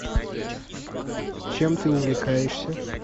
чем ты увлекаешься